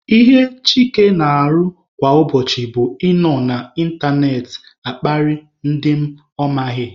Ihe Chike na-arụ kwa ụbọchị bụ ị nọ na ịntanetị akparị ndị ọ maghị.